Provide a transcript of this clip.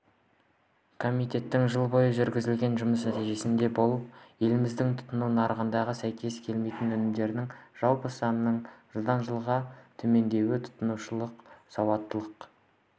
комитеттің жыл бойы жүргізген жұмыс нәтижесі болып еліміздің тұтыну нарығындағы сәйкес келмейтін өнімдердің жалпы санының жылғыы дан жылғы төмендеуі тұтынушылық сауаттылық